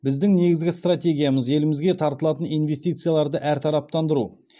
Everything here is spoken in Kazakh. біздің негізгі стратегиямыз елімізге тартылатын инвестицияларды әртараптандыру